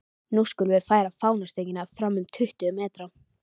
Nú skulum við færa fánastöngina fram um tuttugu metra.